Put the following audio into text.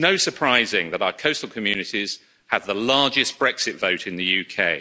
It's no surprising that our coastal communities have the largest Brexit vote in the UK.